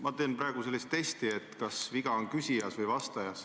Ma teen praegu sellist testi, et kas viga on küsijas või vastajas.